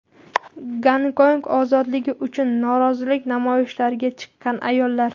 Gonkong ozodligi uchun norozilik namoyishlariga chiqqan ayollar.